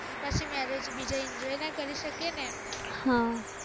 અને પછી marriage બીજા enjoy ના કરી શકીએ ને એમના